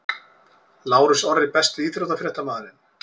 Lárus Orri Besti íþróttafréttamaðurinn?